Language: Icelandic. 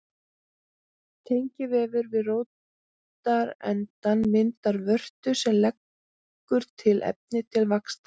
Tengivefur við rótarendann myndar vörtu sem leggur til efni til vaxtar.